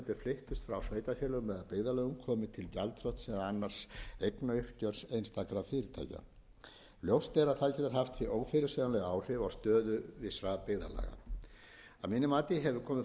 fyrirtækja ljóst er að það getur haft ófyrirsjáanleg áhrif á stöðu vissra byggðarlaga að mínu mati hefur komið fram